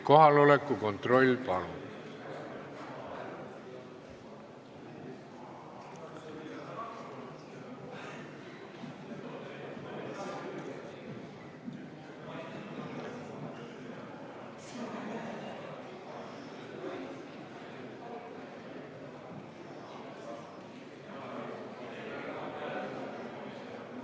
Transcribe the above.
Kohaloleku kontroll, palun!